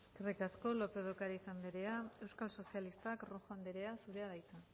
eskerrik asko lópez de ocariz andrea euskal sozialistak rojo andrea zurea da hitza